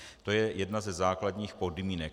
To je jedna ze základních podmínek.